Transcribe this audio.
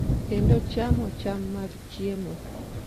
kendo chamo cham mag chiemo.